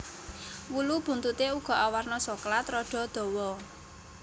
Wulu buntuté uga awarna soklat rada dawa